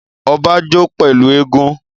Ọba jó pẹ̀lú eégún